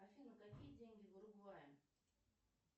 афина какие деньги в уругвае